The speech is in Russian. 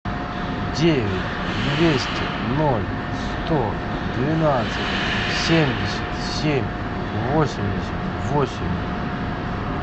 девять двести ноль сто двенадцать семьдесят семь восемьдесят восемь